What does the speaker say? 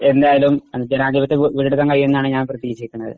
എന്തായാലും ജനാധിപത്യം വീണ്ടെടുക്കാൻ കഴിയും എന്നാണ് ഞാൻ പ്രതീക്ഷിക്കുന്നത്